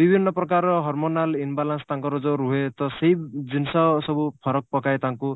ବିଭିନ୍ନ ପ୍ରକାରର hormonal imbalance ତାଙ୍କର ଯଉ ରୁହେ ତ ସେଇ ଜିନିଷ ସବୁ ଫରକ ପକାଏ ତାଙ୍କୁ